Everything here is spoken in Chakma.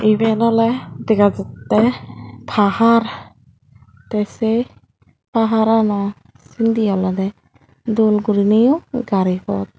iben oley dega jatte pahar te se paharano sindi olode dol gurineyo gaari pot.